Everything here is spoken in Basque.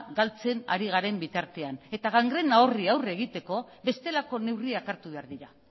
galtzen ari garen bitartean eta gangrena horri aurre egiteko bestelako neurriak hartu behar dira